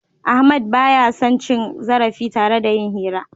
Ahmadu ba ya son cin zarafi tare da yin hira.